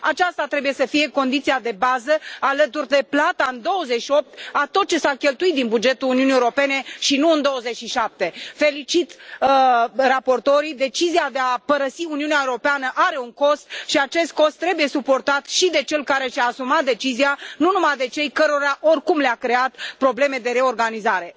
Aceasta trebuie să fie condiția de bază alături de plata în 28 a tot ce s a cheltuit din bugetul Uniunii Europene și nu în 27. Felicit raportorii decizia de a părăsi Uniunea Europeană are un cost și acest cost trebuie suportat și de cel care și a asumat decizia, nu numai de cei cărora, oricum, le a creat probleme de reorganizare.